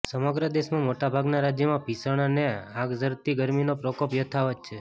સમગ્ર દેશમાં મોટાભાગના રાજ્યોમાં ભીષણ અને આગઝરતી ગરમીનો પ્રકોપ યથાવત છે